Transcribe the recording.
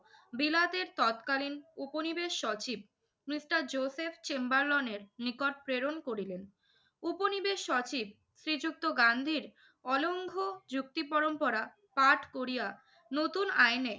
বিলাতের তৎকালীন উপনিবেশ সচিব মিস্টার জোসেফ চেম্বারলনের নিকট প্রেরণ করিলেন। উপনিবেশ সচিব শ্রীযুক্ত গান্ধীর অলংঘ যুক্তিপরম্পরা পাঠ করিয়া নতুন আইনে